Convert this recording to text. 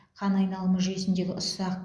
қан айналымы жүйесіндегі ұсақ